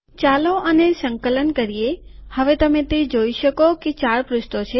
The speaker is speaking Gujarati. ચાલો આને સંકલન કરીએ હવે તમે તે જોઈ શકો કે ૪ પુષ્ઠો છે